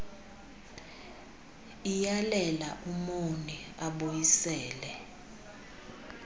iyalela umoni abuyisele